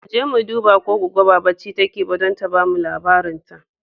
Mu je mu duba ko Goggo ba barci take ba don ta ba mu labarin ta.